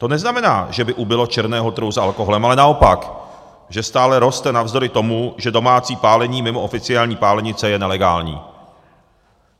To neznamená, že by ubylo černého trhu s alkoholem, ale naopak, že stále roste navzdory tomu, že domácí pálení mimo oficiální pálenice je nelegální.